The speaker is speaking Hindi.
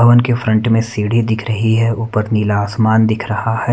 पवन के फ्रंट मे सीढी दिख रही है ऊपर नीला आसमान दिख रहा है।